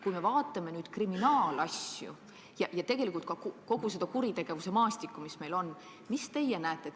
Kui me aga vaatame kriminaalasju ja kogu meie kuritegevuse maastikku, siis mida te näete?